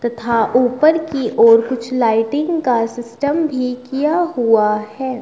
तथा उपर की ओर कुछ लाइटिंग का सिस्टम भी किया हुआ है।